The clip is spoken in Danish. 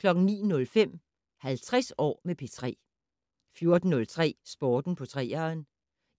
09:05: 50 år med P3 14:03: Sport på 3'eren